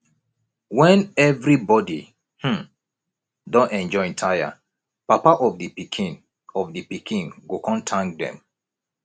wen evribody um don enjoy tire papa of di pikin of di pikin go kon tank dem